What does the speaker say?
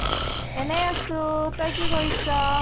এনে আছো তই কি কৰিছ?